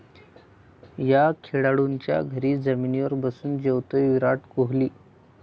या' खेळाडूच्या घरी जमिनीवर बसून जेवतो विराट कोहली